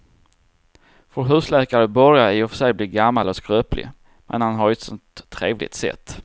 Vår husläkare börjar i och för sig bli gammal och skröplig, men han har ju ett sådant trevligt sätt!